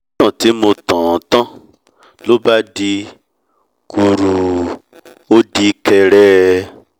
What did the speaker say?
títàn tí mo tàn án tán lóbá dí kùùrùrù ó di kẹẹrẹrẹ